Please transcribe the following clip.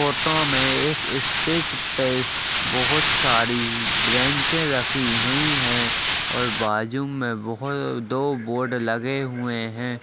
Photo में इस space पे बहोत सारी ब्रेंच रखी हुई हैं और बाजू में बहो-दो बोर्ड लगे हुए हैं।